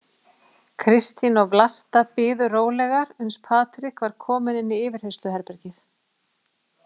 Kristín og Vlasta biðu rólegar uns Patrik var kominn inn í yfirheyrsluherbergið.